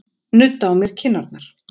Nudda á mér kinnarnar.